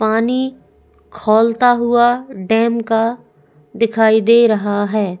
पानी खौलता हुआ डैम का दिखाई दे रहा है।